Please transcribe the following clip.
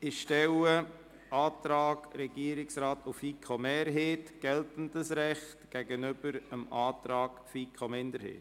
Ich stelle den Antrag Regierungsrat/FiKo-Mehrheit – geltendes Recht – dem Antrag FiKo-Minderheit gegenüber.